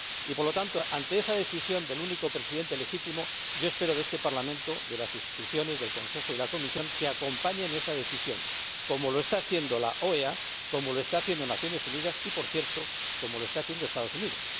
Por lo tanto, ante esa decisión del único Presidente legítimo, espero de este Parlamento, de las Instituciones, del Consejo y de la Comisión, que acompañen esa decisión como lo está haciendo la OEA, como lo está haciendo Naciones Unidas y, por cierto, como lo están haciendo los Estados Unidos.